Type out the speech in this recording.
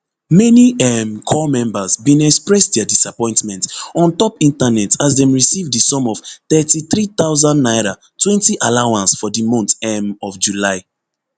many um corps members bin express dia disappointment ontop internet as dem receive di sum of thirty-three thousand naira twenty allowance for di month um of july